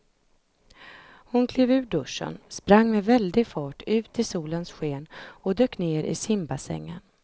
Hon klev ur duschen, sprang med väldig fart ut i solens sken och dök ner i simbassängen.